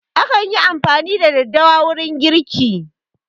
Akan yi amfani da daddawa wurin girki